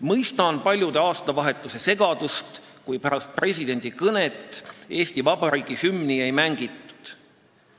Mõistan paljude aastavahetusesegadust, kui pärast presidendi kõnet Eesti Vabariigi hümni ei mängitud.